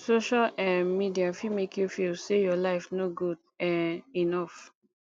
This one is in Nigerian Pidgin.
social um media fit make you feel say your life no good um enough